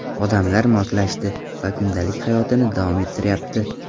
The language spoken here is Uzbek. Odamlar moslashdi va kundalik hayotini davom ettiryapti.